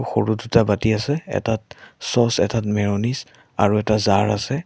সৰু দুটা বাতি আছে এটাত চচ্ এটাত মেয়নিছ আৰু এটা জাৰ আছে।